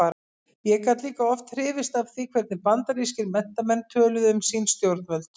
Ég gat líka oft hrifist af því hvernig bandarískir menntamenn töluðu um sín stjórnvöld.